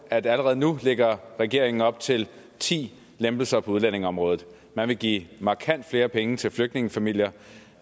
at allerede nu lægger regeringen op til ti lempelser på udlændingeområdet man vil give markant flere penge til flygtningefamilier